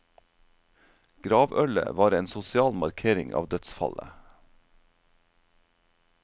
Gravølet var en sosial markering av dødsfallet.